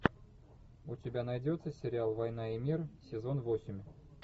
у тебя найдется сериал война и мир сезон восемь